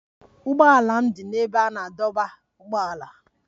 Ụgbọala m dị n'ebe a na-adọba ụgbọala